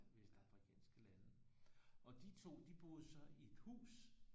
Vestafrikanske lande og de to de boede så i et hus